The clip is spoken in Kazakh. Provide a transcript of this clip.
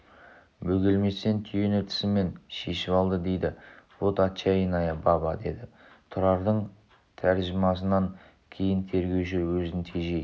бөгелместен түйені тісімен шешіп алды дейді вот отчаянная баба деді тұрардың тәржімасынан кейін тергеуші өзін тежей